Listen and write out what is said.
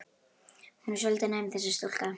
Hún er svolítið næm, þessi stúlka.